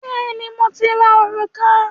Bẹ́ẹ̀ni, mo ti ra òrùka